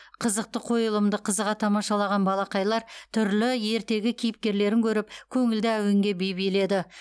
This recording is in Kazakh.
қызықты қойылымды қызыға тамашалаған балақайлар түрлі ертегі кейіпкерлерін көріп көңілді әуенге би биледі